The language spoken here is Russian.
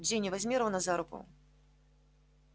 джинни возьми рона за руку